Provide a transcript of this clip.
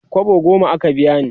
kwabo goma aka biya ni